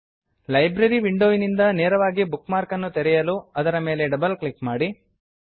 library library ವಿಂಡೋವಿನಿಂದ ನೇರವಾಗಿ book ಮಾರ್ಕನ್ನು ತೆರೆಯಲು ಅದರ ಮೇಲೆ ಡಬಲ್ ಕ್ಲಿಕ್ ಮಾಡಿ